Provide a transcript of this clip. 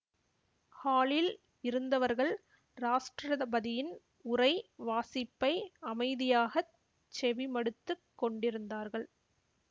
ஹாலில் இருந்தவர்கள் ராஷ்டிரதபதியின் உரை வாசிப்பை அமைதியாகச் செவி மடுத்துக் கொண்டிருந்தார்கள்